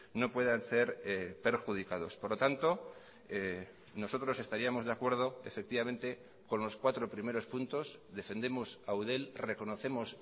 no puedan ser perjudicados por lo tanto nosotros estaríamos de acuerdo efectivamente con los cuatro primeros puntos defendemos a eudel reconocemos